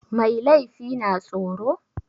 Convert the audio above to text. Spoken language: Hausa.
Mai laifi na tsoro?